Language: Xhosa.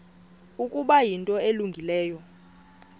ukuba yinto elungileyo